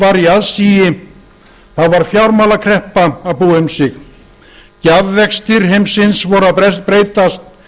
í aðsigi þá var fjármálakreppa að búa um sig gjafvextir heimsins voru að breytast